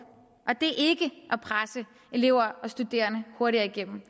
og det ikke at presse elever og studerende hurtigere igennem